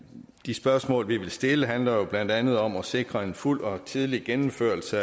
de spørgsmål vi vil stille handler jo blandt andet om at sikre en fuld og tidlig gennemførelse